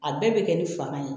A bɛɛ bɛ kɛ ni fanga ye